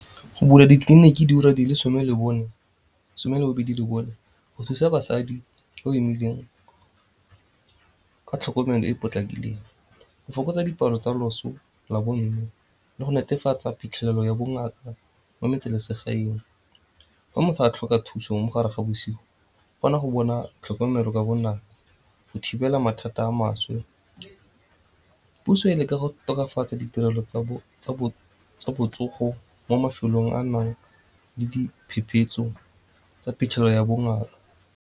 Go bula ditleliniki diura di le some le bobedi le bone go ka thusa basadi o imileng ka tlhokomelo e e potlakileng, go fokotsa dipalo tsa loso la bomme le go netefatsa phitlhelelo ya bongaka mo metse lesegaeng. Fa motho a tlhoka thuso mogare ga bosigo kgona go bona tlhokomelo ka bonako go thibela mathata a maswe. Puso e leka go tokafatsa ditirelo tsa botsogo mo mafelong a nang le tsa phitlhelelo ya bongaka.